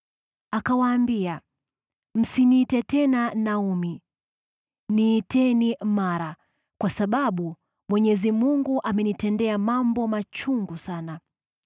Akawaambia, “Msiniite tena Naomi, niiteni Mara, kwa sababu Mwenyezi amenitendea mambo machungu sana.